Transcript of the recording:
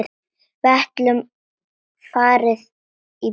Við gætum farið í bíó.